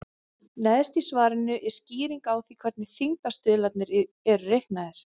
Neðst í svarinu er skýring á því hvernig þyngdarstuðlarnir eru reiknaðir.